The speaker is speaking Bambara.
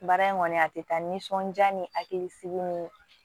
Baara in kɔni a tɛ taa nisɔndiya ni hakilisigi ni